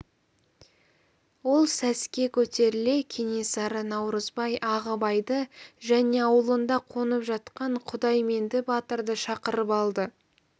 ол сәске көтеріле кенесары наурызбай ағыбайды және аулында қонып жатқан құдайменді батырды шақырып алды